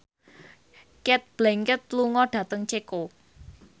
Cate Blanchett lunga dhateng Ceko